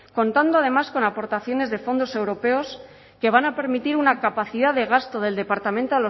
contando además con aportaciones de fondos europeos que van a permitir una capacidad de gasto del departamento